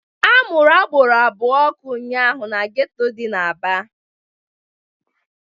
A mụrụ agboro abụọ ọkụ ụnyaahụ n'geto dị n'Aba